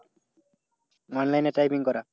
online এ typing করা?